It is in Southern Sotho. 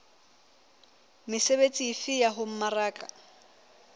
mesebetsi efe ya ho mmaraka